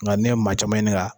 Nka n'i ye maa caman ɲininka.